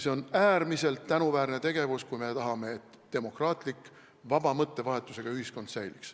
See on äärmiselt tänuväärne tegevus, kui me tahame, et demokraatlik, vaba mõttevahetusega ühiskond säiliks.